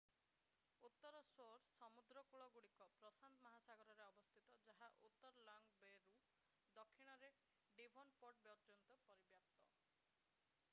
ଉତ୍ତର ଶୋର୍ ସମୁଦ୍ରକୂଳଗୁଡ଼ିକ ଉତ୍ତର ପୋତାଶ୍ରୟ ଜିଲ୍ଲାରେ ପ୍ରଶାନ୍ତ ମହାସାଗରରେ ଅବସ୍ଥିତ ଯାହା ଉତ୍ତରରେ ଲଙ୍ଗ ବେ’ରୁ ଦକ୍ଷିଣରେ ଡିଭୋନ୍‌ପୋର୍ଟ ପର୍ଯ୍ୟନ୍ତ ପରିବ୍ୟାପ୍ତ।